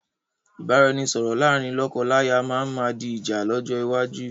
Ìbáraẹnisọọ̀rọ̀ láàrín lọ́kọ-láya máa ma di ìjà lọ́jọ́ iwájú